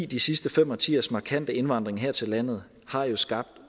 de sidste fem årtiers markante indvandring her til landet har jo skabt